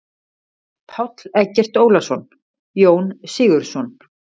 Páll Eggert Ólason: Jón Sigurðsson.